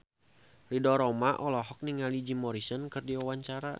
Ridho Roma olohok ningali Jim Morrison keur diwawancara